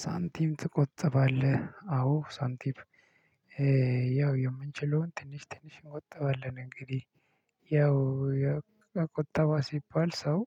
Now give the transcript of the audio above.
ሳንቲም ትቆጥባለህ አዎ ሳንቲም ያው የምንችለውን ትንሽ ትንሽ እንቆጥባለን እንግዲህ ያው ቁጠባ ሲባል ሰው